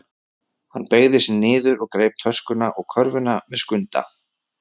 Hann beygði sig niður og greip töskuna og körfuna með Skunda.